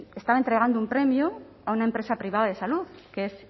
entregando un premio a una empresa privada de salud que es